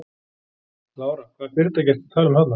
Lára: Hvaða fyrirtæki ertu að tala um þarna?